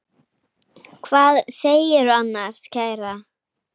Hvað segirðu annars, kæra?